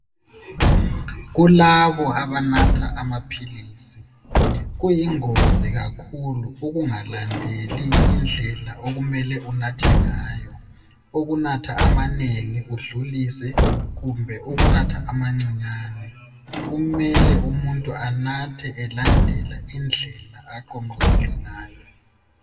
Kulabo abanatha amaphilisi kuyingozi kakhulu ukungalandeli indlela okumele unathe ngayo ukunatha amanengi udlulise kumbe ukunatha amancinyane kumele umuntu anathe elandela indlela aqonqoselwe ngayo